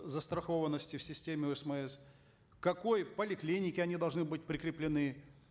застрахованности в системе осмс к какой поликлинике они должны быть прикреплены